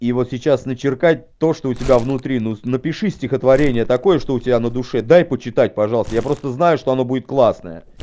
и вот сейчас на чиркать то что у тебя внутри ну напиши стихотворение такое что у тебя на душе дай почитать пожалуйста я просто знаю что оно будет классное